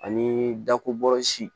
Ani dakobɔsi